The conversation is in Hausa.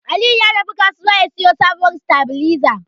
Aliyu ya tafi kasuwa ya siyo sabuwar sitabiliza.